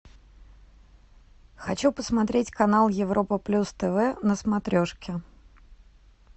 хочу посмотреть канал европа плюс тв на смотрешке